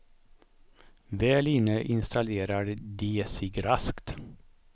Väl inne instalerar de sig raskt.